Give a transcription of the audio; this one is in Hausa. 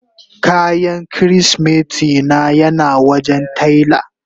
Kayan kirisimeti na yana wajen taila.